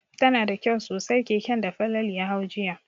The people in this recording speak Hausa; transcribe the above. Tana da kyau sosai keken da Falalu ya hau jiya.